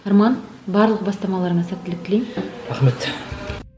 арман барлық бастамаларыңа сәттілік тілеймін рахмет